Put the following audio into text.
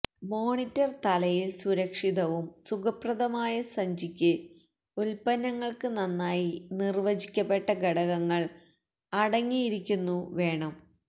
monitor തലയിൽ സുരക്ഷിതവും സുഖപ്രദമായ സഞ്ചിക്ക് ഉൽപ്പന്നങ്ങൾക്ക് നന്നായി നിർവചിക്കപ്പെട്ട ഘടകങ്ങൾ അടങ്ങിയിരിക്കുന്നു വേണം